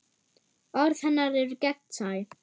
Orð hennar eru gegnsæ.